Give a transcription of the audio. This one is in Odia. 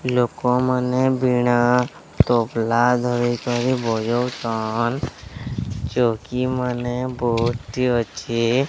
ଲୋକମାନେ ବୀଣା ତବ୍ଲା ଧରିକରି ବଜଉଛନ୍ ଚୌକିମାନେ ବୋହୁତ୍ ଟି ଅଛି।